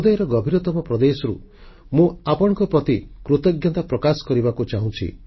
ହୃଦୟର ଗଭୀରତମ ପ୍ରଦେଶରୁ ମୁଁ ଆପଣଙ୍କ ପ୍ରତି କୃତଜ୍ଞତା ପ୍ରକାଶ କରିବାକୁ ଚାହୁଁଛି